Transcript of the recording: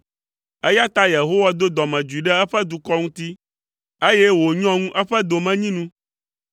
eya ta Yehowa do dɔmedzoe ɖe eƒe dukɔ ŋuti, eye wònyɔ ŋu eƒe domenyinu.